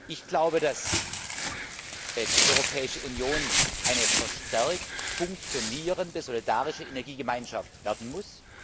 Ich glaube, dass die Europäische Union eine verstärkt funktionierende solidarische Energiegemeinschaft werden muss.